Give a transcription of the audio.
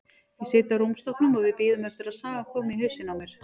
Ég sit á rúmstokknum og við bíðum eftir að sagan komi í hausinn á mér.